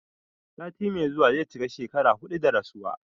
Sati mai zuwa zai cika shekara huɗu da rasuwa